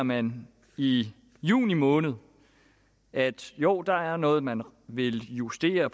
man i juni måned at jo der er noget man vil justere